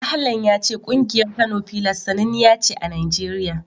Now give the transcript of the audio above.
Ahlan ya ce ƙungiyar Kano Pillars sananniya ce a Najeriya.